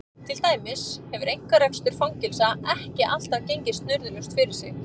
Til dæmis hefur einkarekstur fangelsa ekki alltaf gengið snurðulaust fyrir sig.